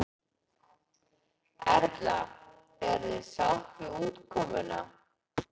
Erla: Eruð þið sátt við útkomuna?